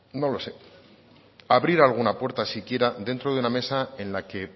no lo sé abrir alguna puerta siquiera dentro de una mesa en la que